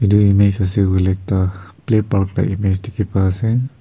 image ase koile toh play park la image dikhi pai ase.